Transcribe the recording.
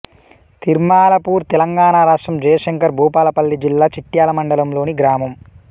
తిర్మలాపూర్ తెలంగాణ రాష్ట్రం జయశంకర్ భూపాలపల్లి జిల్లా చిట్యాల మండలంలోని గ్రామం